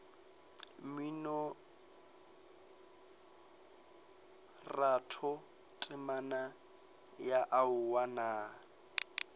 mminoratho temana ya aowa nna